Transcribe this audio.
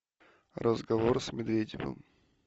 разговор с медведевым